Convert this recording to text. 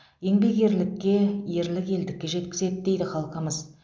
еңбек ерлікке ерлік елдікке жеткізеді дейді халқымыз